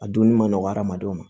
A dunni ma nɔgɔ hadamadenw ma